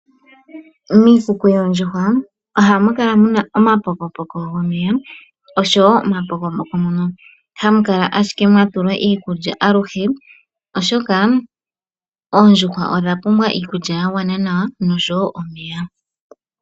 Miikuku yoo ndjuhwa ohamu kala muna oma pokopoko go meya, osho wo oma pokopoko mono hamu kala ashike iikudja, oshoka oondjuhwa odha pumbwa iikudja ya gwana nawa nosho wo omeya.